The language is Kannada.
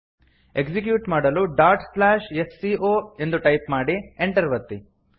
ಎಕ್ಸಿಕ್ಯೂಟ್ ಮಾಡಲು ಡಾಟ್ ಸ್ಲ್ಯಾಶ್ ಎಸ್ ಸಿ ಒಎಂದು ಟೈಪ್ ಮಾಡಿ Enter ಒತ್ತಿ